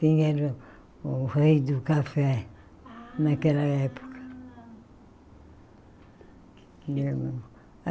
Quem era o o rei do café Ah naquela época?